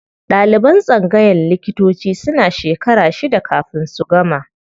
Ɗaliban tsangayan likitanci suna shekara shida kafin su gama.